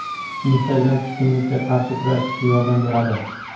Instagram tushkunlikka qarshi kurashishga yordam beradi.